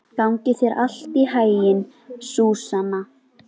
Gangi þér allt í haginn, Súsanna.